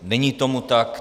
Není tomu tak.